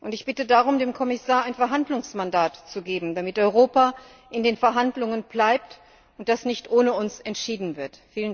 Ich bitte darum, dem Kommissar ein Verhandlungsmandat zu geben, damit Europa in den Verhandlungen bleibt und das nicht ohne uns entschieden wird.